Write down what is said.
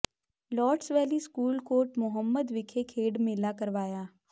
lotus Valley school Kot Muhammad ਵਿਖੇ ਖੇਡ ਮੇਲਾ ਕਰਵਾਇਆ